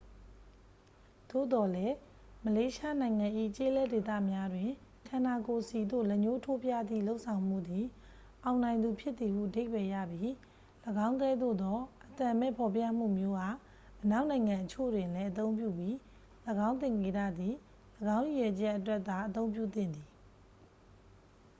သို့သော်လည်း မလေးရှားနိုင်ငံ၏ ကျေးလက်ဒေသများတွင် ခန္ဓာကိုယ်ဆီသို့ လက်ညှိးထိုးပြသည့် လုပ်ဆောင်မှုသည် အောင်နိုင်သူဖြစ်သည်ဟု အဓိပ္ပာယ်ရပြီး ၎င်းကဲ့သို့သော အသံမဲ့ ဖော်ပြမှုမျိုးအား အနောက်နိုင်ငံအချို့တွင်လည်း အသုံးပြုပြီး ၎င်းသင်္ကေတသည် ၎င်းရည်ရွယ်ချက်အတွက်သာ အသုံးပြုသင့်သည်